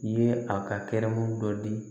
Ye a ka kɛnɛmun dɔ di